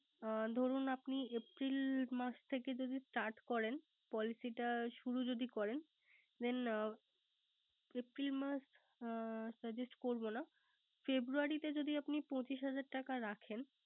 ও ধরুন আপনি April মাস থেকে যদি Start করেন। Policy টা শুরু যদি করেন । Then april suggust করব না। February তে আপনি যদি পচিশ হাজার টাকা রাখেন